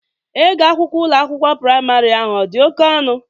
Ego akwụkwọ Ụlọ akwụkwọ praịmarị ahụ ọ dị oke ọnụ?